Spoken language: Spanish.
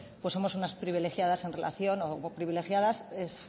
somos unas privilegiadas en relación o privilegiadas es